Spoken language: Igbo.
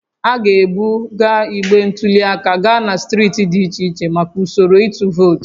A ga-ebuga igbe ntụli aka gaa na steeti dị iche iche maka usoro ịtụ vootu